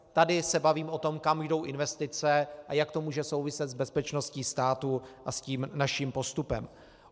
Tady se bavíme o tom, kam jdou investice a jak to může souviset s bezpečností státu a s tím naším postupem.